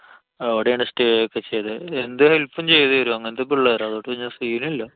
അവിടെയാണ് stay ഒക്കെ ചെയ്തത്, എന്ത് help ചെയ്ത് തരും അങ്ങനത്തെ പിള്ളേർ ആ. അതോണ്ട് പിന്നെ scene ഇല്ല.